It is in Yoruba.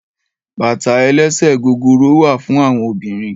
Bàtá èlèsè gógóró wà fún áwòn óbìrín